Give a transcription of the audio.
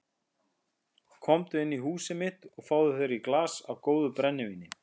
Komdu inn í húsið mitt og fáðu þér í glas af góðu brennivíni.